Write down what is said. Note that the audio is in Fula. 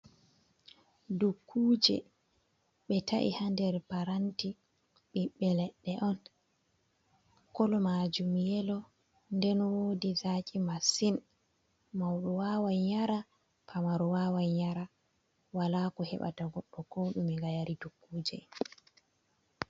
Dukkuje ɓe ta’i haa nder paranti, ɓiɓɓe leɗɗe on kolo majum yelo nden wodi zaki masin, mauɗo wawan yara pamaro wawan yara wala ko heɓata goɗɗo ko ɗume ngam yari dukkuje.